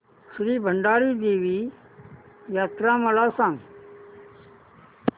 श्री भराडी देवी यात्रा मला सांग